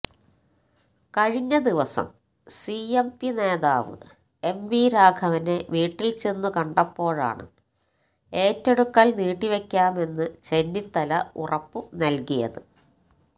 കഴിഞ്ഞ ദിവസം സിഎംപി നേതാവ് എംവി രാഘവനെ വീട്ടില് ചെന്നു കണ്ടപ്പോഴാണ് ഏറ്റെടുക്കല് നീട്ടിവയ്ക്കാമെന്നു ചെന്നിത്തല ഉറപ്പു നല്കിയത്